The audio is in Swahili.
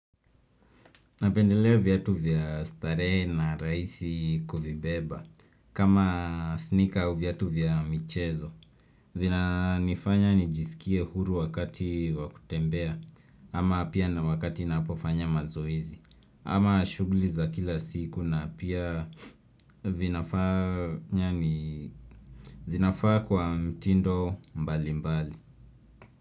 Napendelea viatu vya starehe na rahisi kuvibeba kama sneaker au viatu vya michezo vina nifanya nijisikie huru wakati wa kutembea ama pia na wakati napofanya mazoezi ama shughuli za kila siku na pia zinafaa kwa mtindo mbali mbali.